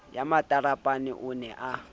ya matarapane o ne a